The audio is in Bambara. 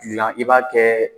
i b'a kɛ